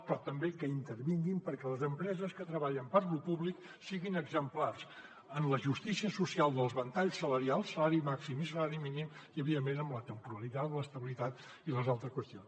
però també que intervinguin perquè les empreses que treballen per a lo públic siguin exemplars en la justícia social dels ventalls salarials salari màxim i salari mínim i evidentment amb la temporalitat l’estabilitat i les altres qüestions